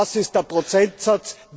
Was ist der Prozentsatz?